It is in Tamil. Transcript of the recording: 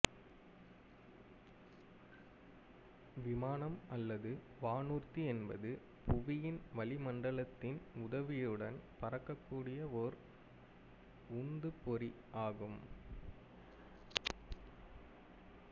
விமானம் அல்லது வானூர்தி என்பது புவியின் வளிமண்டலத்தின் உதவியுடன் பறக்கக்கூடிய ஓர் உந்துப்பொறியாகும்